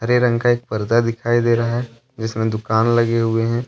हरे रंग का एक पर्दा दिखाई दे रहा है जिसमे दुकान लगी हुऐ है।